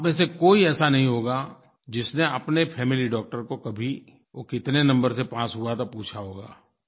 आप में से कोई ऐसा नहीं होगा जिसने अपने फैमिली डॉक्टर को कभी वो कितने नंबर से पास हुआ था पूछा होगा